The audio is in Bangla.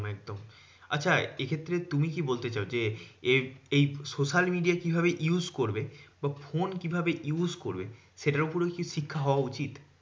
একদম আচ্ছা এক্ষেত্রে তুমি কি বলতে চাও যে, এই এই social media কিভাবে use করবে? বা ফোন কিভাবে use করবে? সেটার উপরেও কিছু শিক্ষা হওয়া উচিত।